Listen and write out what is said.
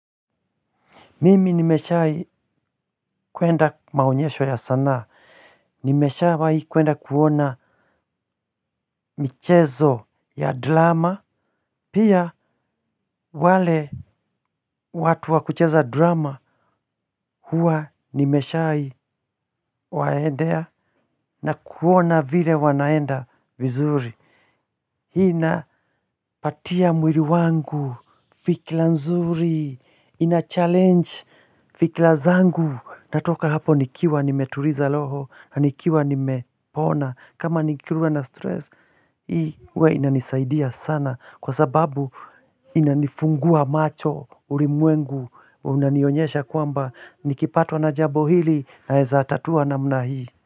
Mimi nimeshai kuenda maonyesho ya sanaa. Nimesha wahii kuenda kuona michezo ya drama. Pia wale watu wakucheza drama huwa nimeshai waendea na kuona vile wanaenda vizuri. Hii napatia mwili wangu fikra nzuri, inachallenge fikra zangu. Natoka hapo nikiwa nimetuliza roho, nikiwa nimepona, kama nikiwa na stress, hii huwa inanisaidia sana kwa sababu inanifungua macho ulimwengu, unanionyesha kwamba nikipatwa na jambo hili naeza tatuwa namna hii.